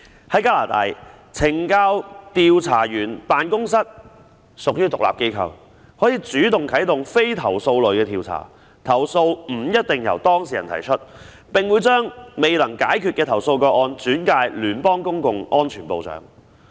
在加拿大，懲教調查員辦公室屬於獨立機構，可主動啟動非投訴類的調查，投訴不一定須由當事人提出，並會將未能解決的投訴個案轉介聯邦公共安全部長。